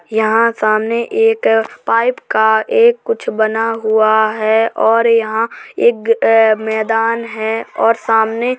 यहाँ सामने एक पाइप का एक कुछ बना हुआ है और यहाँ एग ए मैदान है और सामने--